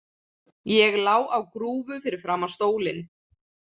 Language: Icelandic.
Ég lá á grúfu fyrir framan stólinn.